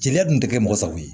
Jeliya dun tɛ kɛ mɔgɔ sago ye